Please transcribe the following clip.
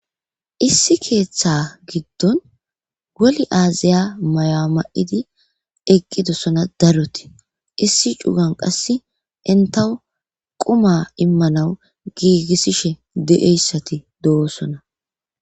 issi keeththa giddon goli aaziya maya mayidi eqqidossona daroti issi cugan qasse intaw quma immanawu giigissishe de'ieyssati do'osona.